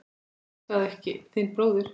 Elskaðu ekki þinn bróður.